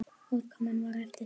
Útkoman var eftir því.